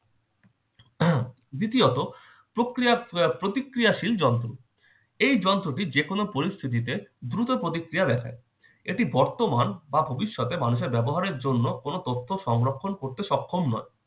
আহ দ্বিতীয়ত- প্রক্রিয়া আহ প্রতিক্রিয়াশীল যন্ত্র। এই যন্ত্রটি যেকোনো পরিস্থিতিতে দ্রুত প্রতিক্রিয়া দেখায়। এটি বর্তমান বা ভবিষ্যতে মানুষের ব্যবহারের জন্য কোন তথ্য সংরক্ষণ করতে সক্ষম নয়।